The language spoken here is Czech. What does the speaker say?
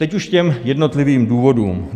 Teď už k jednotlivým důvodům.